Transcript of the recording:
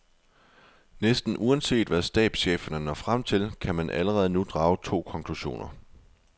Næsten uanset hvad stabscheferne når frem til, kan man allerede nu drage to konklusioner.